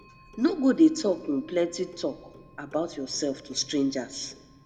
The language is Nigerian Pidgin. no go dey talk um plenty talk about yourself to strangers